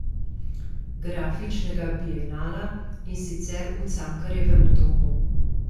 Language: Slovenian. Grafičnega bienala, in sicer v Cankarjevem domu.